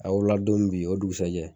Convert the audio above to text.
A wolo la don min bi o dugusɛjɛ.